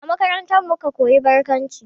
A makarantarmu muka koyi barkwanci